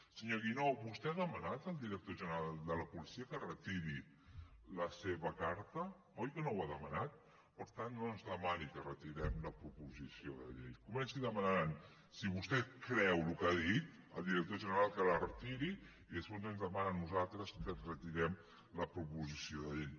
senyor guinó vostè ha demanat al director general de la policia que retiri la seva carta oi que no ho ha demanat per tant no ens demani que retirem la proposició de llei comenci demanant si vostè creu el que ha dit al director general que la retiri i després ens demana a nosaltres que retirem la proposició de llei